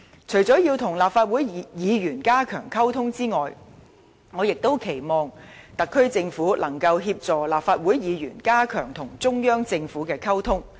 除了要與立法會議員加強溝通外，我亦期望特區政府能協助立法會議員加強與中央政府的溝通。